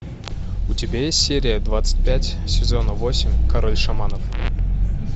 у тебя есть серия двадцать пять сезона восемь король шаманов